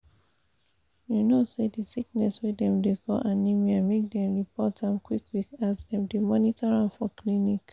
you no say this sickness wey dem dey call anemia make dem report am qik qik as dem dey monitor am for clinic